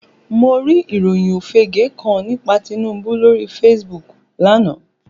Mo rí ìròyìn òfége kan nípa Tinubu lóri Facebook lánàá